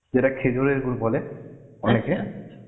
যেটা খেজুরের গুড় বলে